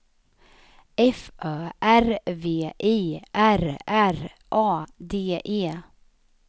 F Ö R V I R R A D E